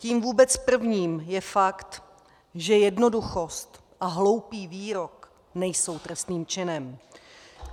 Tím vůbec prvním je fakt, že jednoduchost a hloupý výrok nejsou trestným činem.